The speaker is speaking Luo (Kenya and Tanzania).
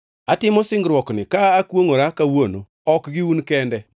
Atimo singruokni ka akwongʼora kawuono, ok gi un kende